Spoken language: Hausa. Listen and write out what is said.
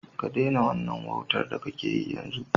Ka daina wannan wautar da kake yi, yanzu!